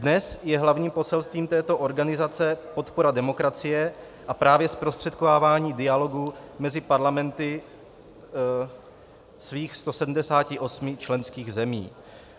Dnes je hlavním poselstvím této organizace podpora demokracie a právě zprostředkovávání dialogu mezi parlamenty svých 170 členských zemí.